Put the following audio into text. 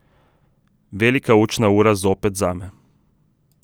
Velika učna ura zopet zame.